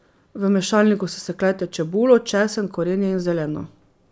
V mešalniku sesekljajte čebulo, česen korenje in zeleno.